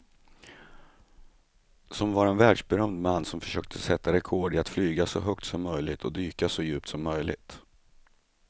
Som var en världsberömd man som försökte sätta rekord i att flyga så högt som möjligt och dyka så djupt som möjligt.